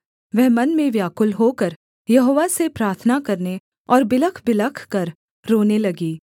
वह मन में व्याकुल होकर यहोवा से प्रार्थना करने और बिलखबिलख कर रोने लगी